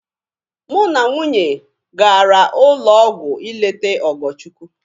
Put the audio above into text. Mụ na nwunye gara ụlọ ọgwụ ịlete Ogochukwu.